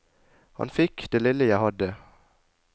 Han fikk det lille jeg hadde.